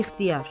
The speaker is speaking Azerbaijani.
İxtiyar.